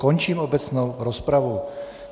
Končím obecnou rozpravu.